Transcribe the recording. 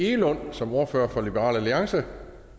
egelund som ordfører for liberal alliance